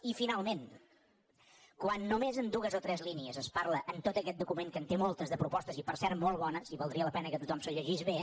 i finalment quan només en dues o tres línies es parla en tot aquest document que en té moltes de propostes i per cert molt bones i valdria la pena que tothom se’l llegís bé